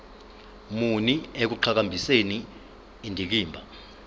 muni ekuqhakambiseni indikimba